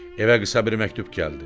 Evə qısa bir məktub gəldi.